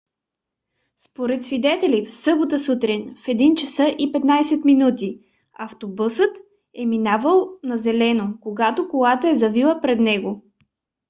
според свидетели в събота сутрин в 1:15 автобусът е минавал на зелено когато колата е завила пред него